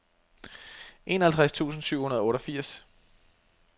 enoghalvtreds tusind syv hundrede og otteogfirs